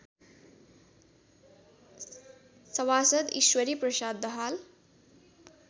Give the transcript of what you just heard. सभासद् ईश्वरीप्रसाद दाहाल